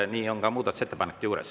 Nii on ka muudatusettepanekute puhul.